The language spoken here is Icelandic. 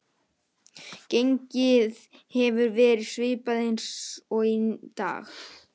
Gengið hefur verið svipað eins og í dag.